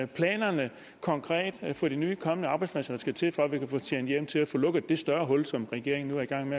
planerne konkret for de nye kommende arbejdspladser der skal til for at vi kan få tjent hjem til at få lukket det større hul som regeringen regeringen